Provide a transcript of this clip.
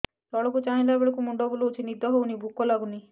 ତଳକୁ ଚାହିଁଲା ବେଳକୁ ମୁଣ୍ଡ ବୁଲୁଚି ନିଦ ହଉନି ଭୁକ ଲାଗୁନି